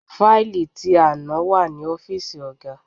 Faili ti àná wà ní ọ́fíìsì ọ̀gá.